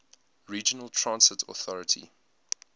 regional transit authority